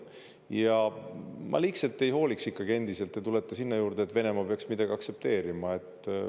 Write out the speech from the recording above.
Ja ma liigselt ei hooliks, endiselt te tulete sinna juurde, et Venemaa peaks midagi aktsepteerima.